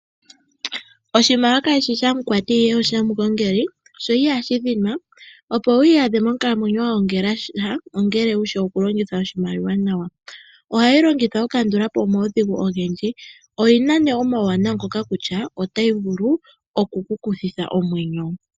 Oshimaliwa kashishi sha mukwati ihe osha mugongeli, sho ihashi dhinwa, opo wiiyadhe monkalamwenyo wa gongela sha ongele wushi oku longitha oshimaliwa nawa. Ohayi longithwa oku kandulapo omaudhigu ogendji, oyina ne omauwinayi ngoka kutya otayi vulu oku kuthitha omwenyo.